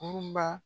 Kurun ba